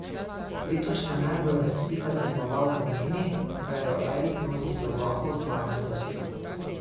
Letošnja najbolj razvpita tekmovalka meni, da jo Erik nosi globoko v svojem srcu.